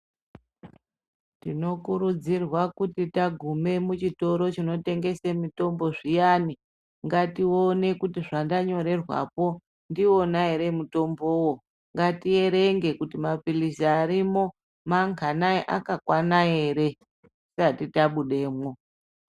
Tinokurudzirwa kuti tagume muchitoro chinotengeswa mitombo zviyane ngatione kuti zvandanyorerwapo ndiwona ere mutombowo ,ngatierenge kuti mapilizi arimo manganai akakwana ere tisari tabudemo .